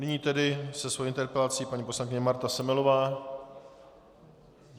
Nyní tedy se svou interpelací paní poslankyně Marta Semelová.